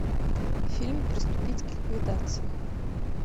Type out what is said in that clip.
фильм приступить к ликвидации